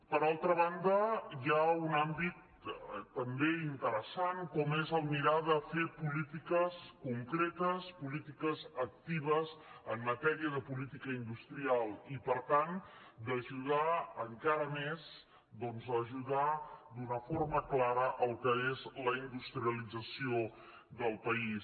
per altra banda hi ha un àmbit també interessant com és mirar de fer polítiques concretes polítiques actives en matèria de política industrial i per tant d’ajudar encara més doncs ajudar d’una forma clara el que és la industrialització del país